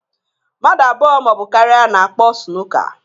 Mmadụ abụọ ma ọ bụ karịa na-akpọ sunuka